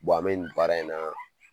an be nin baara in na